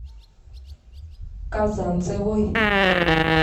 казанцевой